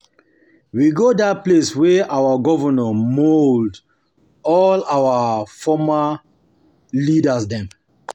We go dat place wey our governor mould all our former all our former leaders dem.